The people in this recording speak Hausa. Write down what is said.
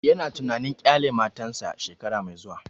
Ya na tunanin ƙyale matan sa wata mai zuwa